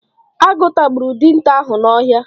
Agụ tagburu dinta ahụ n'ọhịa.